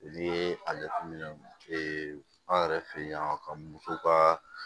N'i ye a jateminɛ an yɛrɛ fɛ yen ka muso kaa